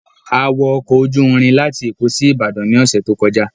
A wọ ọkọ̀ ojú irin láti Èkó sí Ìbàdàn ní ọ̀sẹ̀ tó kọjá